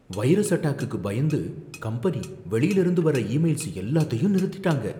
Virus அட்டாக்குக்கு பயந்து, company வெளியில இருந்து வர்ற ஈ மெயில்ஸ் எல்லாத்தையும் நிறுத்திட்டாங்க.